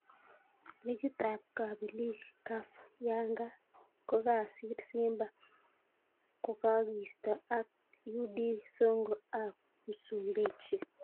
Logit ab kapilik Caf: Yanga kokasir Simba kokakiisto ak UD Songo ab Msumbiji.